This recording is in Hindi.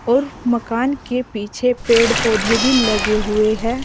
और मकान के पीछे पेड़ पौधे भी लगे हुए हैं।